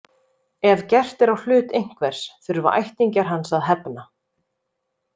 Ef gert er á hlut einhvers þurfa ættingjar hans að hefna.